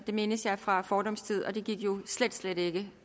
mindes jeg fra fordums tid og det gik jo slet slet ikke